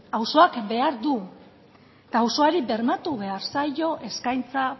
auzoak behar du eta auzoari bermatu behar zaio eskaintza